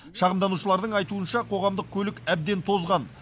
шағымданушылардың айтуынша қоғамдық көлік әбден тозған